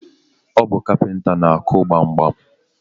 Ọ bu kapinta na-akụ gbamgbam